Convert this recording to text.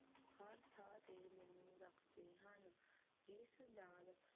ਸਡਾਲ